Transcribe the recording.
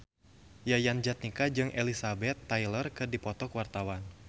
Yayan Jatnika jeung Elizabeth Taylor keur dipoto ku wartawan